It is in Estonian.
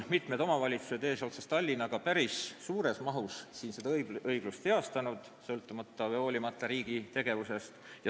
Mitmed omavalitsused eesotsas Tallinnaga on päris suures mahus seda ebaõiglust heastanud, hoolimata riigi tegevusest.